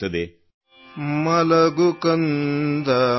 Kannada sound clip 35 seconds Hindi translation